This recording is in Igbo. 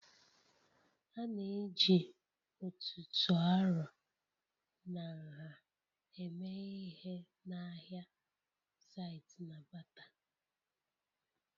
A na-eji ọ̀tụ̀tụ̀ arọ na nha eme ihe n'ahịa site na batter